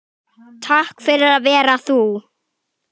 Takk fyrir að vera þú.